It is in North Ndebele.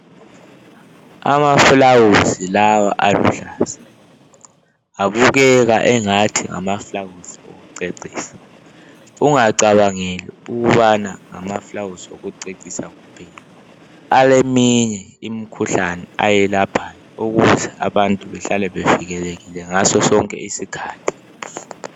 Amafulawuzi lawa aluhlaza, abukeka angathi ngamafulawuzi okucecisa. Ungacabangeli ukubana ngamafulawuzi okucecisa kuphela, aleminye imikhuhlane ayelaphayo ukuze abantu bahlale bevikelekile ngaso sonke isikhathi .